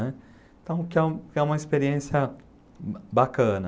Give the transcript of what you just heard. né?. Então, que é uma que é uma experiência bacana.